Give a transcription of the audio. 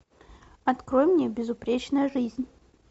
открой мне безупречная жизнь